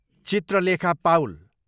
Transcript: Chitralekha Paul